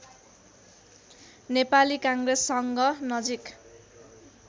नेपाली काङ्ग्रेससँग नजिक